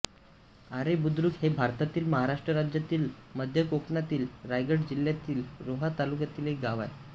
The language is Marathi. आरे बुद्रुक हे भारतातील महाराष्ट्र राज्यातील मध्य कोकणातील रायगड जिल्ह्यातील रोहा तालुक्यातील एक गाव आहे